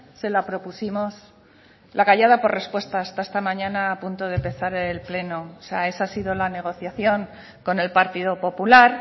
se la propusimos la callada por respuesta hasta esta mañana a punto de empezar el pleno esa ha sido la negociación con el partido popular